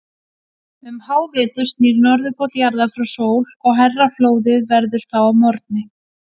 Um hávetur snýr Norðurpóll jarðar frá sól og hærra flóðið verður þá að morgni.